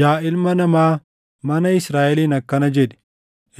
“Yaa ilma namaa, mana Israaʼeliin akkana jedhi;